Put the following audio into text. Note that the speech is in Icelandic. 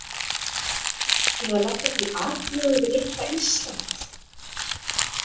Til að leggja til atlögu við litla Ísland?